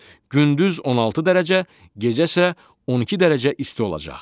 Gündüz 16 dərəcə, gecə isə 12 dərəcə isti olacaq.